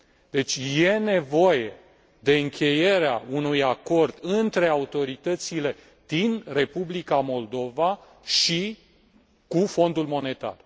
Deci, este nevoie de încheierea unui acord între autoritățile din Republica Moldova și Fondul Monetar.